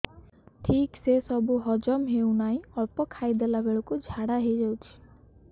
ଠିକସେ ସବୁ ହଜମ ହଉନାହିଁ ଅଳ୍ପ ଖାଇ ଦେଲା ବେଳ କୁ ଝାଡା ହେଇଯାଉଛି